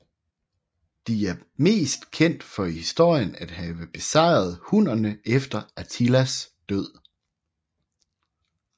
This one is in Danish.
De er mest kendt for i historien for at have besejret hunnerne efter Attilas død